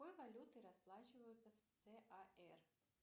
какой валютой расплачиваются в цар